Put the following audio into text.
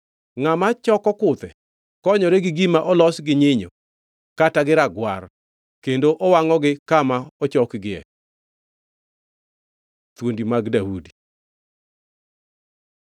Ngʼama choko kuthe konyore gi gima olos gi nyinyo kata gi ragwar, kendo wangʼogi kama ochokgie. Thuondi mag Daudi